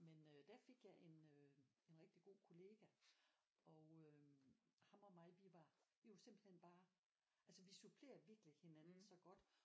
Men øh der fik jeg en øh en rigtig god kollega og øh ham og mig vi var vi var simpelthen bare altså vi supplerede virkelig hinanden så godt